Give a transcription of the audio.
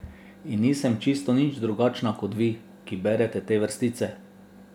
In nisem čisto nič drugačna kot vi, ki berete te vrstice.